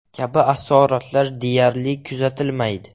kabi asoratlar deyarli kuzatilmaydi.